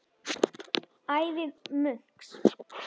Ævi munks